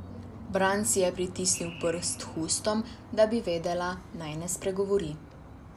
Bran si je pritisnil prst k ustom, da bi vedela, naj ne spregovori.